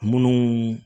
Munnu